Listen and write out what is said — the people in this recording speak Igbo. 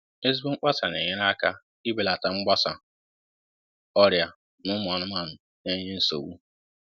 ezigbo mkpasa na enyere aka ibelata mgbasa ọrịa na ụmụ anụmanụ na-enye nsogbu